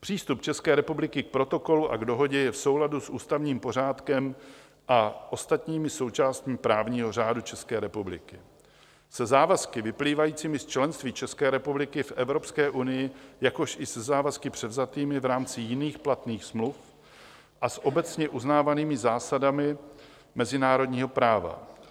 Přístup České republiky k Protokolu a k Dohodě je v souladu s ústavním pořádkem a ostatními součástmi právního řádu České republiky, se závazky vyplývajícími z členství České republiky v Evropské unii, jakož i se závazky převzatými v rámci jiných platných smluv a s obecně uznávanými zásadami mezinárodního práva.